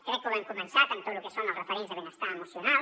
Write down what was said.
crec que ho hem començat en tot lo que són els referents de benestar emocional